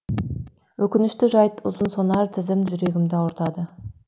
өкінішті жайт ұзынсонар тізім жүрегімді ауыртады